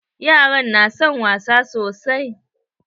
Yaran na son wasa sosai.